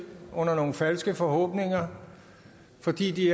under nogle falske forhåbninger fordi de